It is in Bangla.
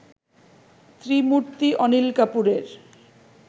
ত্রিমূর্তি অনিল কাপুরের